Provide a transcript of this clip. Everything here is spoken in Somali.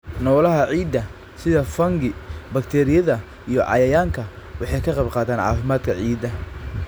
Noolaha ciidda, sida fungi, bakteeriyada, iyo cayayaanka, waxay ka qayb qaataan caafimaadka ciidda.